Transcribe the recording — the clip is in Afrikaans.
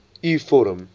u vorm